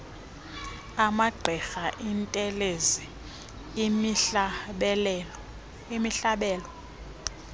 amagqirha iintelezi imihlabelo